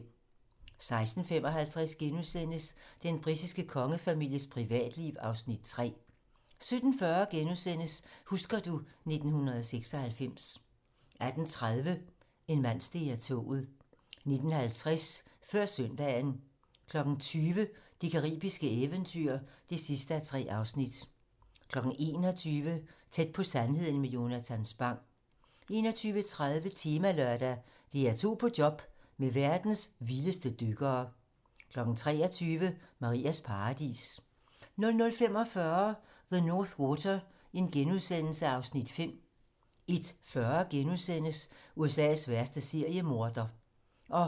16:55: Den britiske kongefamilies privatliv (Afs. 3)* 17:40: Husker du ... 1996 * 18:30: En mand steg af toget 19:50: Før søndagen 20:00: Det caribiske eventyr (3:3) 21:00: Tæt på sandheden med Jonatan Spang 21:30: Temalørdag: DR2 på job med verdens vildeste dykkere 23:00: Marias paradis 00:45: The North Water (Afs. 5)* 01:40: USA's værste seriemorder *